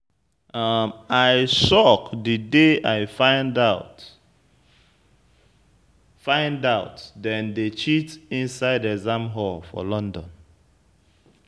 I shock the day I find out find out dem dey cheat inside exam hall for London.